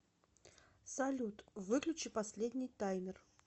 салют выключи последний таймер